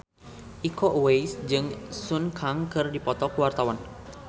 Iko Uwais jeung Sun Kang keur dipoto ku wartawan